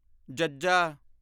ਜੱਜਾ